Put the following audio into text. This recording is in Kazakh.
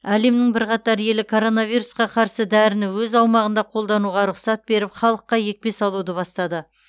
әлемнің бірқатар елі коронавирусқа қарсы дәріні өз аумағында қолдануға рұқсат беріп халыққа екпе салуды бастады